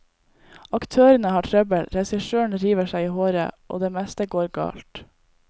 Aktørene har trøbbel, regissøren river seg i håret og det meste går galt.